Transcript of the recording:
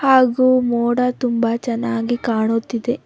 ಹಾಗು ಮೋಡ ತುಂಬ ಚೆನ್ನಾಗಿ ಕಾಣುತ್ತಿದೆ.